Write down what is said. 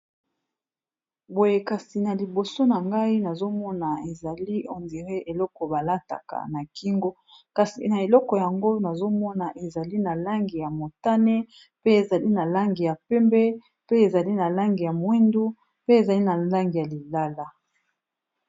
Boye kasi na liboso na ngai nazomona ezali ondiré eleko balataka na kingo kasi na eleko yango nazomona ezali na langi ya motane pe ezali na langi ya pembe pe ezali na langi ya mwindu pe ezali na langi ya lilala.